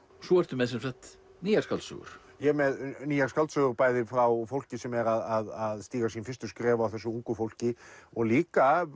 svo ertu með sem sagt nýjar skáldsögur ég er með nýjar skáldsögur bæði frá fólki sem er að stíga sín fyrstu skref af þessu unga fólki og líka af